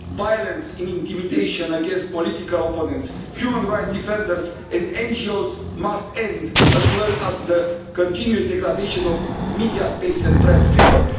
Violence and intimidation against political opponents, human rights defenders and NGOs must end, as well as the continued degradation of media space and press freedom.